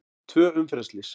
Tvö umferðarslys